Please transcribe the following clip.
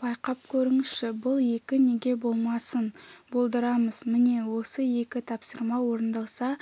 байқап көріңізші бұл екі неге болмасын болдырамыз міне осы екі тапсырма орындалса